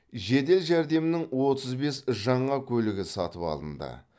жедел жәрдемнің отыз бес жаңа көлігі сатып алынды